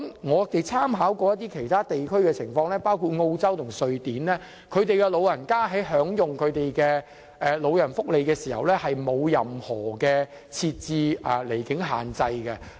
我們參考了一些其他地區的情況，包括澳洲及瑞典，當地的長者在享用長者福利的時候並無受到任何離境限制。